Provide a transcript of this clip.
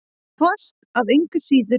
Hvasst engu að síður.